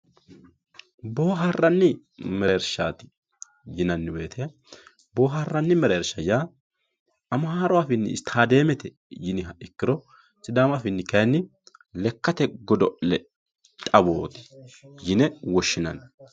boohaaranni mereershaati yineemo woyiite boohaaranni mereershi yaa amaaru afiini istaadeemete yinayiha ikkiro sidaamu afiini kaayiinni lekkate godo'le xawooti yine woshshinanni.